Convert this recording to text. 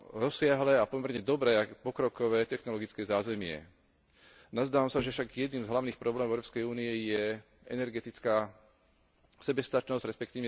rozsiahle a pomerne dobré, pokrokové technologické zázemie. Nazdávam sa však, že jedným z hlavných problémov Európskej únie je energetická sebestačnosť, resp.